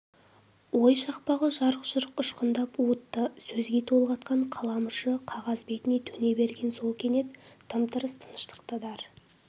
ой шақпағы жарқ-жұрқ ұшқындап уытты сөзге толғатқан қалам ұшы қағаз бетіне төне берген сол кенет тым-тырыс тыныштықты дар